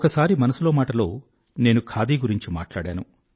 ఒకసారి మనసులో మాటలో నేను ఖాదీ గురించి మాట్లాడాను